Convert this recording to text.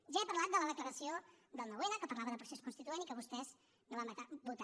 ja he parlat de la declaració del nou n que parlava de procés constituent i que vostès no van votar